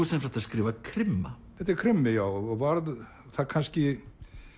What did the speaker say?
sem sagt að skrifa krimma þetta er krimmi já og varð það kannski